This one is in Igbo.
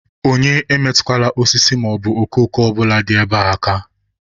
Onye emetụkwala osisi maọbụ okooko ọbụla dị ebe a aka!